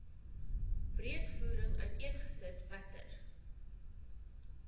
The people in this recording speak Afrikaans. breedvoerig uiteengesit watter